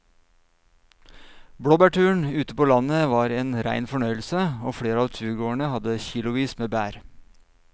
Blåbærturen ute på landet var en rein fornøyelse og flere av turgåerene hadde kilosvis med bær.